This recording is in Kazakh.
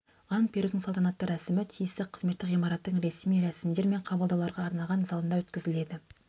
ант берудің салтанатты рәсімі тиісті қызметтік ғимараттың ресми рәсімдер мен қабылдауларға арналған залында өткізіледі